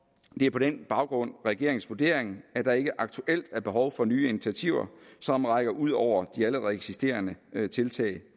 det er på den baggrund regeringens vurdering at der ikke aktuelt er behov for nye initiativer som rækker ud over de allerede eksisterende tiltag